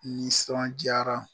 Nisɔn jara